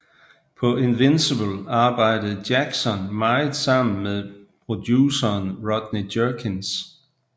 På Invincible arbejdede Jackson meget sammen med produceren Rodney Jerkins